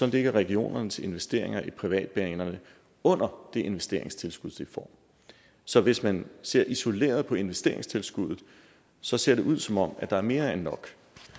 ligger regionernes investeringer i privatbanerne under det investeringstilskud de får så hvis man ser isoleret på investeringstilskuddet ser ser det ud som om der er mere end nok